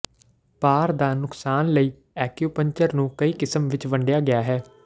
ਭਾਰ ਦਾ ਨੁਕਸਾਨ ਲਈ ਐਕਿਉਪੰਕਚਰ ਨੂੰ ਕਈ ਕਿਸਮ ਵਿੱਚ ਵੰਡਿਆ ਗਿਆ ਹੈ